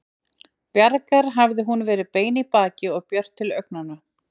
Bjargar hafði hún verið bein í baki og björt til augnanna.